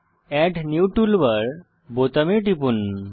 add new toolbar বোতামে টিপুন